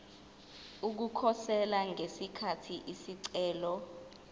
ukukhosela ngesikhathi isicelo